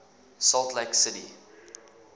salt lake city